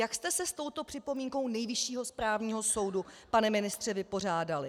Jak jste se s touto připomínkou Nejvyššího správního soudu, pane ministře, vypořádali?